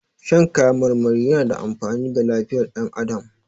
Shan kayan marmari yana da amfani ga lifiyar dan adamu